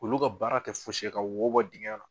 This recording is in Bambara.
Olu ka baara kɛ fosi ka wobɔ dingɛn na.